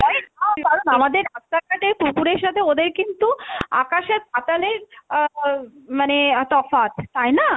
কারণ আমাদের রাস্তাঘাটের কুকুরের সাথে ওদের কিন্তু আকাশ আর পাতালের আহ উম মানে তফাৎ, তাই না?